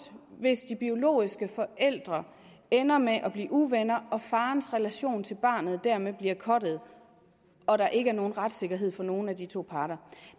hvis de biologiske forældre ender med at blive uvenner og farens relation til barnet dermed bliver cuttet og der ikke er nogen retssikkerhed for nogen af de to parter